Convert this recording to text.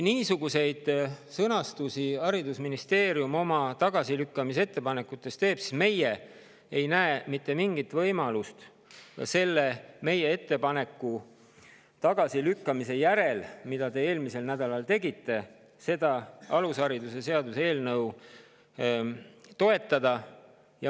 Kui haridusministeerium paneb oma tagasilükkamise ettepanekutesse kirja niisuguseid sõnastusi, siis pärast meie ettepaneku tagasilükkamist, mida te eelmisel nädalal tegite, ei näe me mitte mingisugust võimalust seda alusharidusseaduse eelnõu toetada.